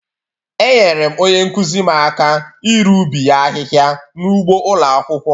Enyere m onye nkụzi m aka iru ubi ya ahịhịa n'ụgbọ ụlọ akwụkwọ.